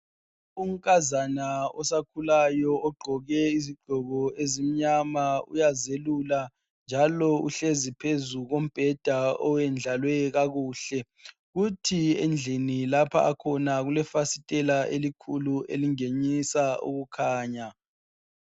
Unkazana osakhulayo ogqoke izigqoko ezimnyama uyazelula njalo uhlezi phezu kombheda owendlalwe kakuhle. Kuthi endlini lapha akhona kulefasitela elikhulu elingenisa ukukhanya.